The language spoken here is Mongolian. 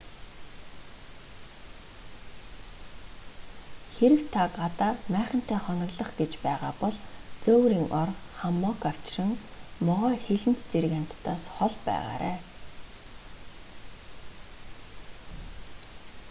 хэрэв та гадаа майхантай хоноглох гэж байгаа бол зөөврийн ор хаммок авчран могой хилэнц зэрэг амьтдаас хол байгаарай